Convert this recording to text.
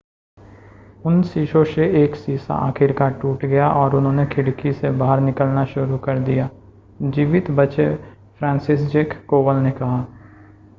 उन शीशों से एक शीशा आखिरकार टूट गया और उन्होंने खिड़की से बाहर निकलना शुरू कर दिया जीवित बचे फ्रांसिसज़ेक कोवल ने कहा